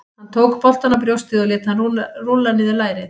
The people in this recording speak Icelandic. Hann tók boltann á brjóstið og lét hann rúlla niður á lærið.